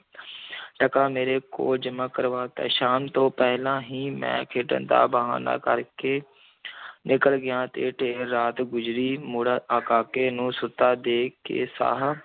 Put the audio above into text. ਟਕਾ ਮੇਰੇ ਕੋਲ ਜਮ੍ਹਾ ਕਰਵਾ ਦਿੱਤਾ, ਸ਼ਾਮ ਤੋਂ ਪਹਿਲਾਂ ਹੀ ਮੈਂ ਖੇਡਣ ਦਾ ਬਹਾਨਾ ਕਰ ਕੇ ਨਿਕਲ ਗਿਆ ਤੇ ਦੇਰ ਰਾਤ ਗੁਜ਼ਰੀ ਮੁੜ ਆ, ਕਾਕੇ ਨੂੰ ਸੁੱਤਾ ਦੇਖ ਕੇ ਸਾਹ